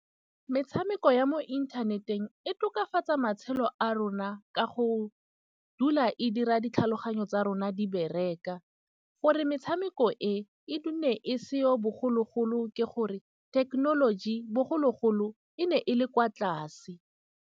Metshameko ya mo inthaneteng e tokafatsa matshelo a rona, ka go dula e dira ditlhaloganyo tsa rona di bereka. Gore metshameko e e e seo bogologolo, ke gore thekenoloji bogologolo e ne e le kwa tlase.